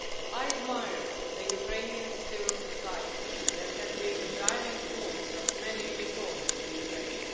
I admire the Ukrainian civil society that has been the driving force behind many reforms in Ukraine.